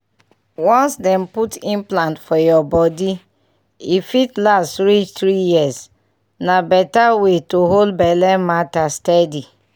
once dem put implant for your body e fit last reach three years — na better way to hold belle matter steady.